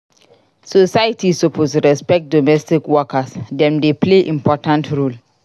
Society suppose respect domestic workers; dem dey play important role.